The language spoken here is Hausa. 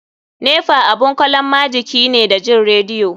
Nepa abun kalon majiki ne da jin radio.